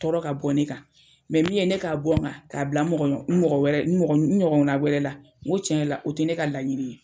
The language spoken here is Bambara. Tɔɔrɔ ka bɔ ne kan mɛ min ye ne k'a bɔ n kan k'a bila n mɔgɔ ɲɔgɔn n mɔgɔ wɛrɛ n mɔgɔ n ɲɔgɔn na wɛrɛ la n ko tiɲɛ la o tɛ ne ka laɲini ye.